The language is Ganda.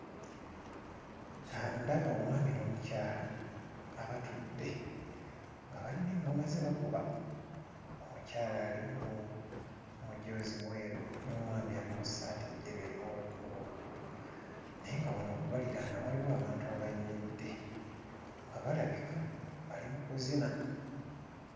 Aa ndaba omwami n'omukyala abatudde nga balina eŋŋoma ze bakuba omukyala ali mu mujoozi mweru n'omusajja ali mu ssaati njeru erimu obukuubokuubo naye nga wano okubaliraana waliwo abantu abayimiridde nga balabika bali mu kuzina.